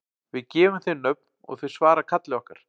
Við gefum þeim nöfn og þau svara kalli okkar.